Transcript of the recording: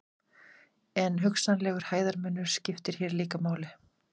En hugsanlegur hæðarmunur skiptir hér líka máli.